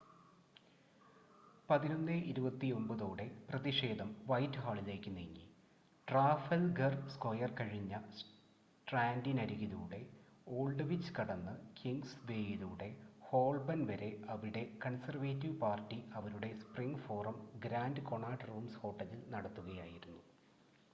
11:29 ഓടെ പ്രതിഷേധം വൈറ്റ്ഹാളിലേക്ക് നീങ്ങി ട്രാഫൽഗർ സ്ക്വയർ കഴിഞ്ഞ സ്ട്രാൻഡിനരികിലൂടെ ഓൾഡ്‌വിച്ച് കടന്ന് കിംഗ്സ്‌വേയിലൂടെ ഹോൾബൺ വരെ അവിടെ കൺസർവേറ്റീവ് പാർട്ടി അവരുടെ Spring Forum Grand Connaught Rooms ഹോട്ടലിൽ നടത്തുകയായിരുന്നു